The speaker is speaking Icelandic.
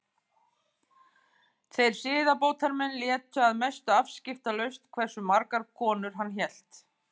Þeir siðbótarmenn létu að mestu afskiptalaust hversu margar konur hann hélt.